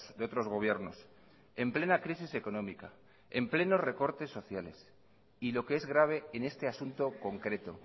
de otros gobiernos en plena crisis económica en pleno recortes sociales y lo que es grabe en este asunto concreto